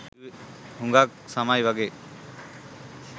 හුඟක් සමයි වගේ.